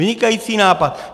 Vynikající nápad.